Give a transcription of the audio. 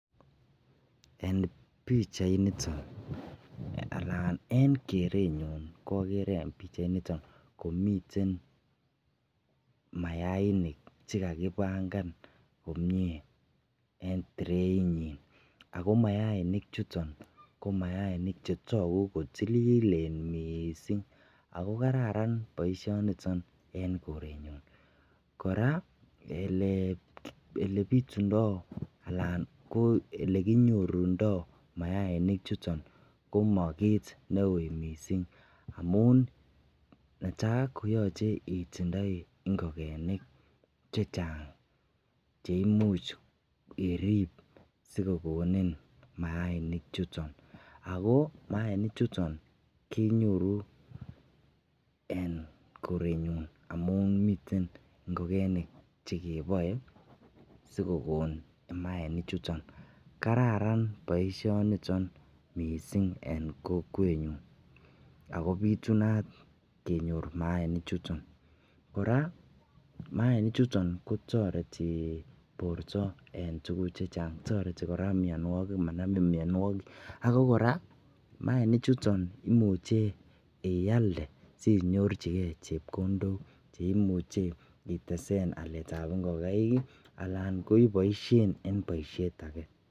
En pichait niton, anan en kerenyuun koogere en pichai niton komiten mayainik chegagibangan komyee en tirait nyiin ako mayainik chuton kotogu kotililen mising ago kararan boishoniton en korenyunn, koraa elebitundoo alal koo elekonyorundoo mayaimik chuton koma kiit neuu mising amun netai koyoche itindoii ngogenik chechang cheimuch iriib sigogonin mayainik chuton, ago mayainik chuton kenyoruu en korenyuun amuun miten ngogenik chegeboee sigogon mayainik chuton, kararan boishoniton mising en kokweet nyun ago bitunaat kenyoor mayainik chuton, koraa mayainik chuton kotoreti borto en tuguk chechang, toreti koraa myonwogik amanamin myonwogik, ago koraa mayainik chuton imuche iaalde sinyorchigee chepkondook cheimuche iteseen aleet ab ngogaiik iih alan ko iboishen en boishet age.